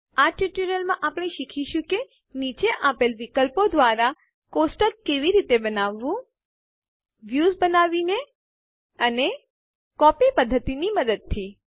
આ ટ્યુટોરીયલમાં આપણે શીખીશું કે નીચે આપેલ દ્વારા એક ટેબલ કોષ્ટક કેવી રીતે બનાવવું a વ્યુંસ દેખાવ બનાવીને અને b કોપી પધ્ધતિનાં મદદથી ચાલો આપણા લાઈબ્રેરી ડેટાબેઝમાં જઈએ